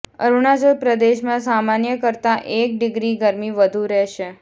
અરૂણાચલ પ્રદેશમાં સામાન્ય કરતાં એક ડિગ્રી ગરમી વધુ રહેશે